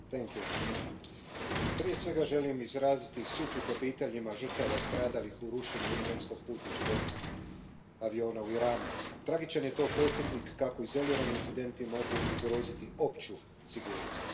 Poštovana predsjedavajuća, prije svega želim izraziti sućut obiteljima žrtava stradalih u rušenju ukrajinskog putničkog aviona u Iranu. Tragičan je to podsjetnik kako izolirani incidenti mogu ugroziti opću sigurnost.